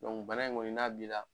bana in kɔni n'a bila